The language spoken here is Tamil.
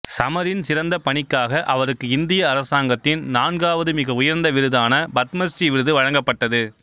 சமரின் சிறந்த பணிக்காக அவருக்கு இந்திய அரசாங்கத்தின் நான்காவது மிக உயர்ந்த விருதான பத்மசிறீ விருது வழங்கப்பட்டது